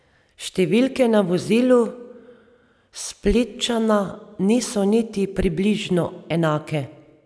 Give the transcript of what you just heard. Številke na vozilu Splitčana niso niti približno enake.